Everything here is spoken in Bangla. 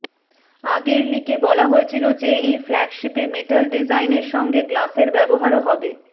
আগের লিকে বলা হয়েছিল যে এই ফ্ল্যাগশিপে মেটাল ডিজাইন এর সঙ্গে গ্লাসের ব্যবহারও হবে